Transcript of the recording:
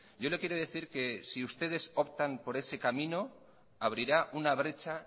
yo le quiero decir que si ustedes optan por ese camino abrirá una brecha